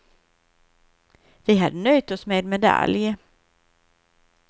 Vi hade nöjt oss med medalj.